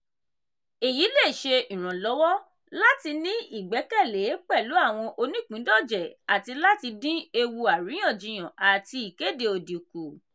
èyí le ṣe ìrànlọ́wọ́ láti ní ìgbẹ́kẹ̀lé pẹ̀lú àwọn oníìpíndọ̀jẹ̀ àti láti dín ewu àríyànjiyàn àti ìkéde òdì kù.